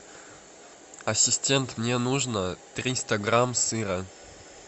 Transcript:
ассистент мне нужно триста грамм сыра